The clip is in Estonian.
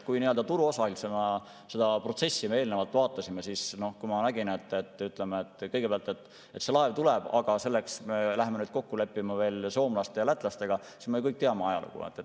Kui vaadata seda protsessi turuosalisena, siis kui ma kõigepealt nägin, et see laev tuleb, aga selleks tuleb veel kokku leppida soomlaste ja lätlastega, siis, et me ju kõik teame ajalugu.